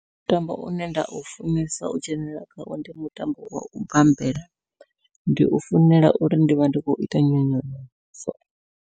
Mutambo une nda u funesa u dzhenelela khawo ndi mutambo wau bambela ndi u funela uri ndivha ndi khou ita nyonyoloso.